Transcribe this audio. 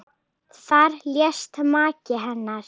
Þar lést maki hennar.